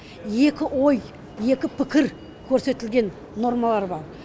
екі ой екі пікір көрсетілген нормалар бар